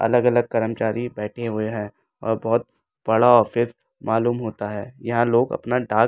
अलग-अलग कर्मचारी बैठे हुए हैं और बहुत बड़ा ऑफिस मालूम होता है यहां लोग अपना डाक --